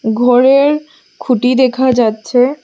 ঘরের খুঁটি দেখা যাচ্ছে।